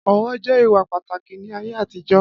Ọ̀wọ̀ jẹ́ ìwà pàtàkì ní ayé àtijọ́.